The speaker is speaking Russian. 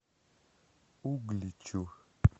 угличу